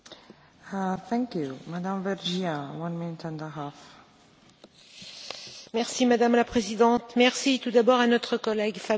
Madame la Présidente, merci tout d'abord à notre collègue Fabio Castaldo pour la qualité de son travail et sa volonté de trouver un accord le plus consensuel possible.